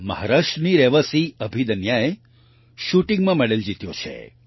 મહારાષ્ટ્રની રહેવાસી અભિદન્યાએ શૂટિંગ શૂટિંગમાં મેડલ જીત્યો છે